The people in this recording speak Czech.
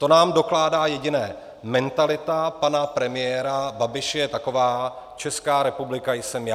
To nám dokládá jediné - mentalita pana premiéra Babiše je taková: Česká republika jsem já.